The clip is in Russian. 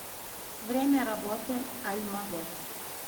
время работы альмавет